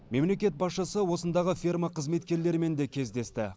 мемлекет басшысы осындағы ферма қызметкерлерімен де кездесті